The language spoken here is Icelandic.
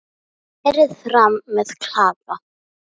Berið fram með klaka.